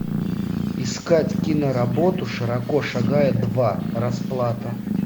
искать киноработу широко шагая два расплата